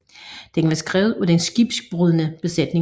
Den var skrevet af den skibsbrudne besætning